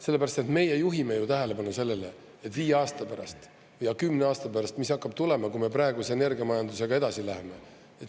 " Sellepärast, et meie juhime tähelepanu sellele, mis viie aasta pärast ja kümne aasta pärast hakkab tulema, kui me praeguse energiamajandusega edasi läheme.